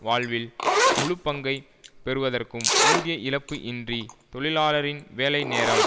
வாழ்வில் முழுப்பங்கை பெறுவதற்கும் ஊதிய இழப்பு இன்றி தொழிலாளரின் வேலைநேரம்